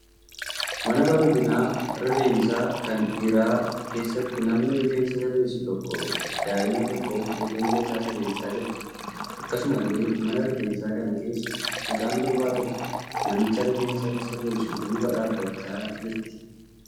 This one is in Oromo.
Mana bareedina rifeensaa kan dhiiraa keessatti namni rifeensa sirreessu tokko daa'ima tokkoof rifeensa isaa sirreessaa jira. Akkasumallee mana rifeensaa kana keessa mucaan durbaa tokko namicha rifeensa sirreessu duuba dhaabbachaa jirti.